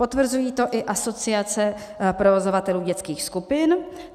Potvrzují to i Asociace provozovatelů dětských skupin.